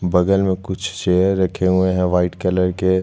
बगल में कुछ चेयर रखे हुए है वाइट कलर के--